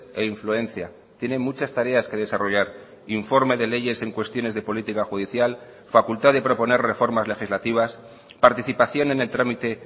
e influencia tiene muchas tareas que desarrollar informe de leyes en cuestiones de política judicial facultad de proponer reformas legislativas participación en el trámite